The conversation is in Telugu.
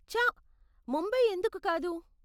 ఛ, ముంబై ఎందుకు కాదు?